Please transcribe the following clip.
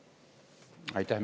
Aitäh!